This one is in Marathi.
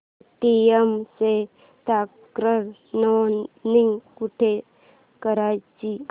पेटीएम ची तक्रार नोंदणी कुठे करायची